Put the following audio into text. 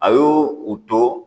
A y'o u to